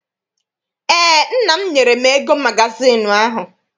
Eé, nna m nyere m ego magazịịnụ ahụ.